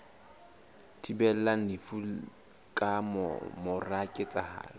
thibelang lefu ka mora ketsahalo